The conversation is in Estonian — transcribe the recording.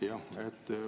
Jah.